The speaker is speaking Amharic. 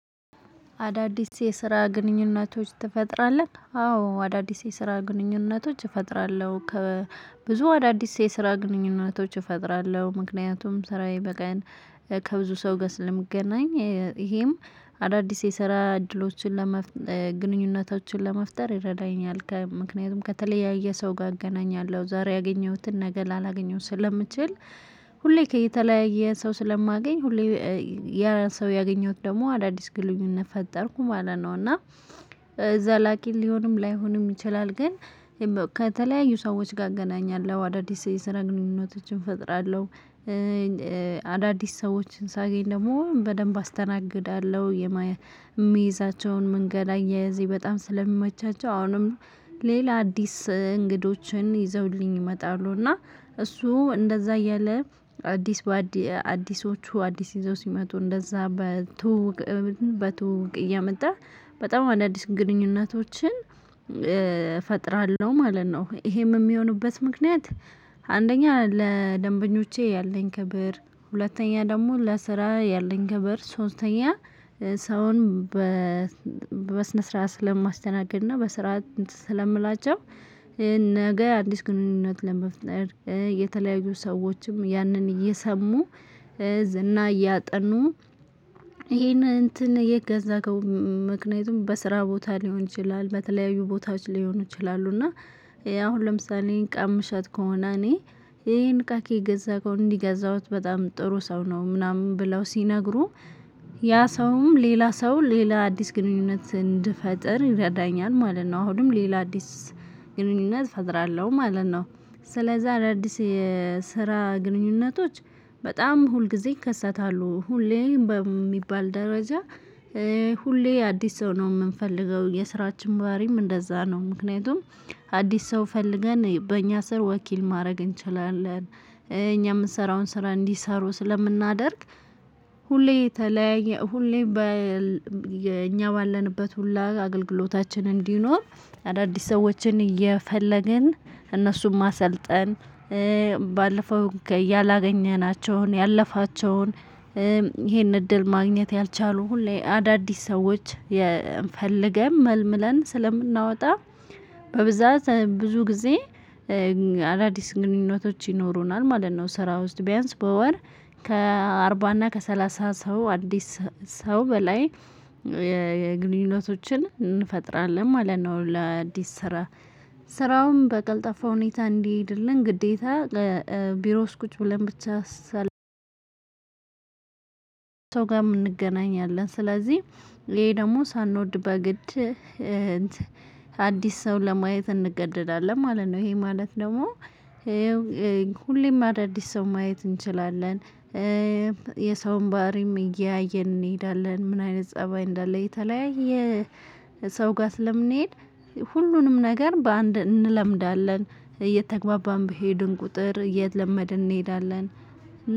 አዳዲስ የስራ ግንኙነቶች ትፈጥራለህ አዎ አዳዲስ የስራ ግንኙነቶች እፈጥራለሁ ከብዙ አዳዲስ የስራ ግንኙነቶች እፈጥራለሁ ምክንያቱም ስራዬ በቀን ከብዙ ሰው ጋር ስለምገናኝ። ይሄም አዳዲስ የሰራ እድሎችን ለመፍጠር ግንኙነታችን ለመፍጠር ይረዳኛል ምክንያቱም ከተለያየ ሰው ጋር እገናኛለሁ ዛሬ ያገኘሁትን ነገ ላላገኘው ስለምችል። ሁሌ ከየተለያየ ሰው ስለማገኝ ሁሌ ያ ሰው ያገኘሁት ደግሞ አዳዲስ ግንኙነት ፈጠርኩ ማለት ነው። እና ዘላቂ ሊሆንም ላይሆንም ይችላል። ግን ከተለያዩ ሰዎች ጋር እገናኛለሁ አዳዲስ የስራ ግንኙነቶችን እፈጥራለሁ። አዳዲስ ሰዎችን ሳገኝ ደግሞ በደንብ አስተናግዳለሁ የሚይዛቸውን መንገድ አያያዜ በጣም ስለሚመቻቸው። አሁንም ሌላ አዲስ እንግዶችን ይዘውልኝ ይመጣሉ። እና እሱ እንደዛ እያለ አዲስ አዲሶቹ አዲስ ይዘው ሲመጡ እንደዛ በትውውቅ እየመጣ በጣም አዳዲስ ግንኙነቶችን እፈጥራለሁ ማለት ነው። ይሄም የሚሆኑበት ምክንያት። አንደኛ ለደንበኞቼ ያለኝ ክብር ሁለተኛ ደግሞ ለስራ ያለኝ ክብር ሶስተኛ ሰውን በስነ ስርዓት ስለማስተናገድ እና በስርዓት ስለምላቸው። ነገ አዲስ ግንኙነት ለመፍጠር የተለያዩ ሰዎችም ያንን እየሰሙ ዝና እያጠኑ ይሄን እንትን የገዛከው ምክንያቱም በስራ ቦታ ሊሆን ይችላል። በተለያዩ ቦታዎች ሊሆኑ ይችላሉ እና አሁን ለምሳሌ እቃ የምሸጥ ከሆነ እኔ ይሄን እቃ ከየት ገዛከው እንደት ገዛሁ በጣም ጥሩ ሰው ነው። ምናምን ብለው ያ ሰውም ሌላ ሰው ሌላ አዲስ ግንኙነት እንድፈጥር ይረዳኛል ማለት ነው። አሁንም ሌላ አዲስ ግንኙነት እፈጥራለሁ ማለት ነው። ስለዚህ አዳዲስ የስራ ግንኙነቶች በጣም ሁልጊዜ ይከሰታሉ ሁሌ በሚባል ደረጃ። ሁሌ አዲስ ሰው ነው የምንፈልገው የስራችን ባህሪም እንደዛ ነው። ምክንያቱም አዲስ ሰው ፈልገን በእኛ ስር ወኪል ማድረግ እንችላለን እኛ የምንሰራውን ስራ እንዲሰሩ ስለምናደርግ። ሁሌ ተለያየ ሁሌ እኛ ባለንበት ሁላ አገልግሎታችን እንዲኖር አዳዲስ ሰዎችን እየፈለግን እነሱም ማሰልጠን። ባለፈው ያለፋቸውን ይሄን እድል ማግኘት ያልቻሉ ሁሌ አዳዲስ ሰዎች ፈልገን መልምለን ስለምናወጣ። በብዛት ብዙ ጊዜ ግንኙነቶች ይኖሩናል ማለት ነው። ስራ ውስጥ ቢያንስ በወር ከአርባ እና ከሠላሳ ሰው አዲስ ሰው በላይ ግንኙነቶችን እንፈጥራለን ማለት ነው። ለአዲስ ስራ ስራውም በቀልጣፋ ሁኔታ እንዲሄድልን ግዴታ ቢሮ ውስጥ ቁጭ ብለን። ብቻ ሰው ጋር የምንገናኝ አለን ስለዚህ ይሄ ደግሞ ሳንወድ በግድ አዲስ ሰው ለማየት እንገደዳለን ማለት ነው። ይሄ ማለት ደግሞ ሁሌም አዳዲስ ሰው ማየት እንችላለን። የሰውን ባህሪም እያየን እንሄዳለን ምን አይነት ፀባይ እንዳለ የተለያየ ሰው ጋር ስለምንሄድ። ሁሉንም ነገር በአንድ እንለምዳለን እየተግባባን በሄድን ቁጥር እየተለመደን እንሄዳለን።